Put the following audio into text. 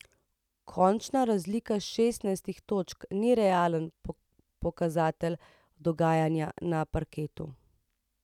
Končna razlika šestnajstih točk ni realen pokazatelj dogajanja na parketu.